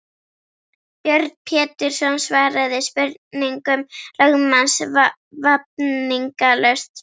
Björn Pétursson svaraði spurningum lögmanns vafningalaust.